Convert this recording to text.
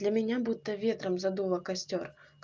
для меня будто ветром задуло костёр